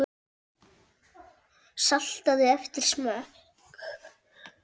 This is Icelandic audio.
Saltaðu eftir smekk.